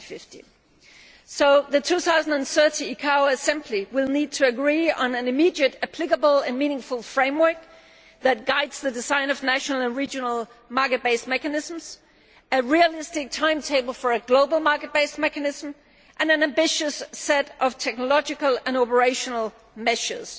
2050. So the 2013 ICAO Assembly will need to agree on an immediately applicable and meaningful framework that guides the design of national and regional market based mechanisms, a realistic timetable for a global market based mechanism, and an ambitious set of technological and operational measures.